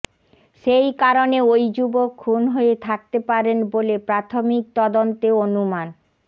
সেই কারণেও ওই যুবক খুন হয়ে থাকতে পারেন বলে প্রাথমিক তদন্তে অনুমান